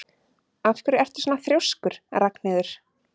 Af hverju ertu svona þrjóskur, Ragnheiður?